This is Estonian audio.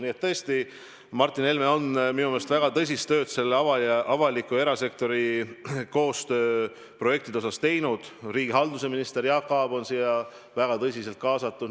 Nii et tõesti, Martin Helme on minu meelest väga tõsist tööd avaliku ja erasektori koostööprojektidega teinud, riigihalduse minister Jaak Aab on siia väga tõsiselt kaasatud.